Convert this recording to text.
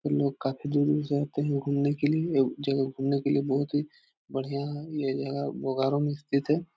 लोग काफी दूर-दूर से आते हैं घूमने के लिए ये जगह घूमने के लिए बहुत ही बढ़िया है ये जगह बोकारो में स्थित है।